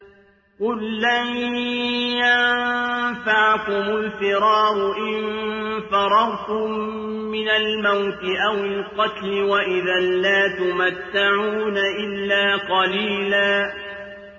قُل لَّن يَنفَعَكُمُ الْفِرَارُ إِن فَرَرْتُم مِّنَ الْمَوْتِ أَوِ الْقَتْلِ وَإِذًا لَّا تُمَتَّعُونَ إِلَّا قَلِيلًا